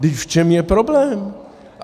Vždyť v čem je problém?